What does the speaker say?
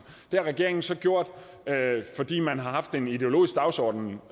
det har regeringen så gjort fordi man har haft en ideologisk dagsorden